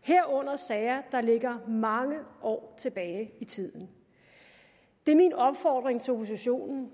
herunder sager der ligger mange år tilbage i tiden det er min opfordring til oppositionen